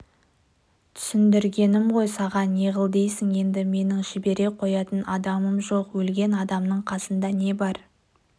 түсіндіргенім ғой саған неғыл дейсің енді менің жібере қоятын адамым жоқ өлген адамның қасында не бар